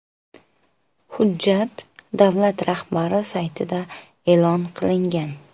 Hujjat davlat rahbari saytida e’lon qilingan.